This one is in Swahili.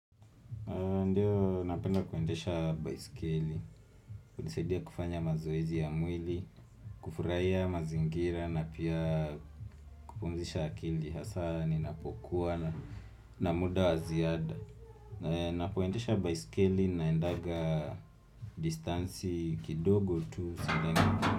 Ndio, napenda kuendesha baiskeli, hunisaidia kufanya mazoezi ya mwili, kufurahia mazingira na pia kupumzisha akili, hasaa ninapokuwa na na muda wa ziada. Ninapoendesha baiskeli, naendaga distansi kidogo tu.